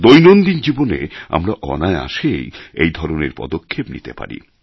দৈনন্দিন জীবনে আমরা অনায়াসেই এই ধরনের পদক্ষেপ নিতে পারি